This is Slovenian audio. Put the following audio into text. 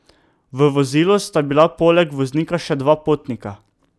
V vozilu sta bila poleg voznika še dva potnika.